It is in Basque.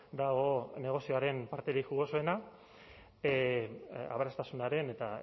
dago negozioaren parterik jugosoena aberastasunaren eta